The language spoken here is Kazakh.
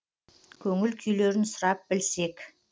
көңіл күйлерін сұрап білсек